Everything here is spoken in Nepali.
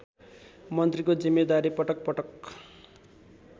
मन्त्रीको जिम्मेदारी पटकपटक